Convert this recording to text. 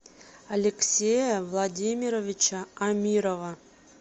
алексея владимировича амирова